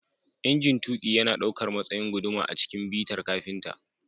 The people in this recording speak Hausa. Injin tuƙi yana ɗaukar matsayin guduma a cikin bitar kafinta